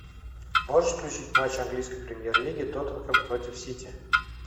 можешь включить матч английской премьер лиги тоттенхэм против сити